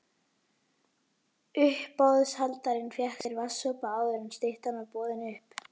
Uppboðshaldarinn fékk sér vatnssopa áður en styttan var boðin upp.